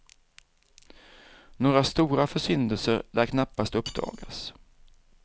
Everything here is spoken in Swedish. Några stora försyndelser lär knappast uppdagas.